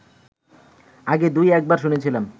আগে দুই-একবার শুনেছিলাম